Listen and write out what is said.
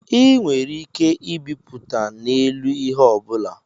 A nwere ike ịbịpụta na-elu ihe ọbụla